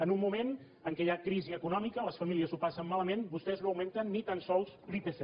en un moment en què hi ha crisi econòmica les famílies ho passen malament vostès no augmenten ni tan sols l’ipc